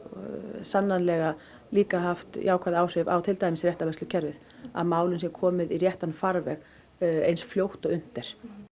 sannanlega líka haft jákvæð áhrif á réttarvörslukerfið að málum sé komið í réttan farveg eins fljótt og unnt er